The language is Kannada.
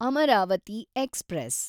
ಅಮರಾವತಿ ಎಕ್ಸ್‌ಪ್ರೆಸ್